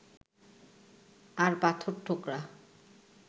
আর পাথরঠোকরা